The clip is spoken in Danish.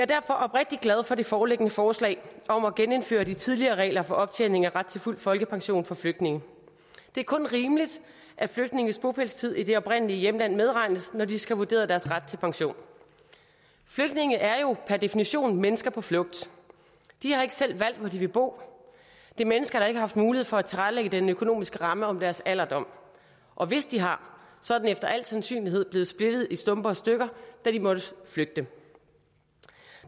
derfor oprigtig glad for det foreliggende forslag om at genindføre de tidligere regler for optjening af ret til fuld folkepension for flygtninge det er kun rimeligt at flygtninges bopælstid i det oprindelige hjemland medregnes når de skal have vurderet deres ret til pension flygtninge er jo per definition mennesker på flugt de har ikke selv valgt hvor de vil bo det er mennesker der ikke har haft mulighed for at tilrettelægge den økonomiske ramme om deres alderdom og hvis de har så er den efter al sandsynlighed blevet splittet i stumper og stykker da de måtte flygte